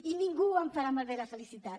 i ningú em farà malbé la felicitat